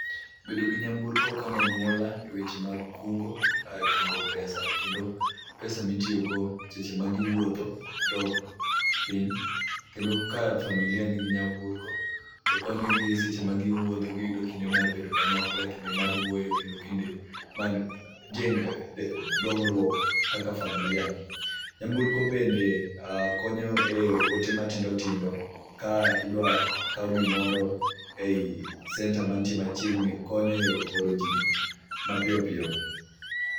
Bedo gi nyamburko konyo anyuola e weche mag kungo, kungo pesa kendo pesa mitiyo go seche ma giwuotho dok piny. Kendo ka familia nigi nyamburko, be konyo gi seche ma giwuotho giyudo kinde mar bedo kanyakla, kinde mar wuoyo kendo kinde mar dongruok kaka familia. Nyamburko bende konyo e ote matindo tindo ka idwa kao gimoro ei center mantie machiegni konyo e oro ji mapiyopiyo.